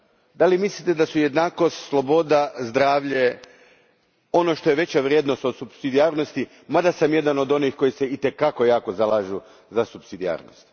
Da li mislite da su jednakost, sloboda, zdravlje ono što je veća vrijednost od supsidijarnosti, mada sam jedan od onih koji se i te kako jako zalažu za supsidijarnost?